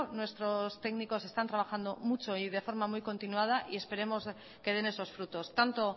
nuestros técnicos están trabajando mucho y de forma muy continuada y esperemos que den esos frutos tanto